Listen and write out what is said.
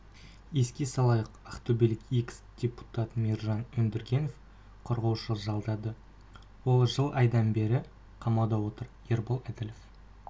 еске салайық ақтөбелік экс-депутат мейіржан өндіргенов қорғаушы жалдады ол жыл айдан бері қамауда отыр ербол әділов